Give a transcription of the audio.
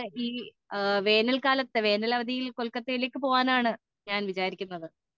വേനൽ അവധിയിൽ കൊൽക്കത്തയിലേക്ക് പോകാനാണ് ഞാൻ വിചാരിക്കുന്നത്